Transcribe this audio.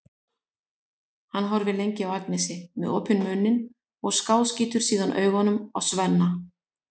Hann horfir lengi á Agnesi með opinn munn og skáskýtur síðan augunum á Svenna.